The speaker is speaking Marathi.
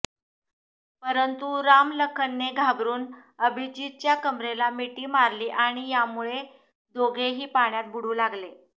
परंतू रामलखनने घाबरून अभिजीतच्या कंबरेला मिटी मारली आणी यामुळे दोघे ही पाण्यात बुडू लागले